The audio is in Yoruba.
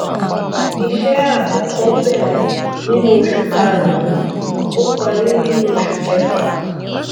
iṣẹ àkọkọ bẹrẹ nínú oṣù kàrúnún ó parí nínú oṣù kẹfà